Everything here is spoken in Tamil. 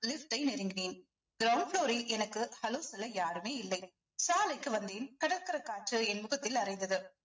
lift ஐ நெருங்கினேன் ground floor ல் எனக்கு hello சொல்ல யாருமே இல்லை சாலைக்கு வந்தேன் கடற்கரைக் காற்று என் முகத்தில் அறைந்தது